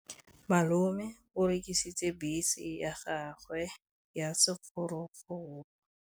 Malome o rekisitse bese ya gagwe ya sekgorokgoro.